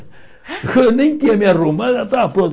Eu nem tinha me arrumado e ela estava pronta.